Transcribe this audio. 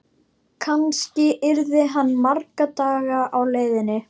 Kannski yrði hann marga daga á leiðinni.